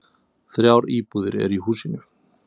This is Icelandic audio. Þrjár íbúðir eru í húsinu.